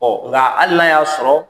nka hali n'a y'a sɔrɔ